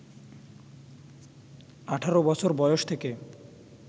১৮ বছর বয়স থেকে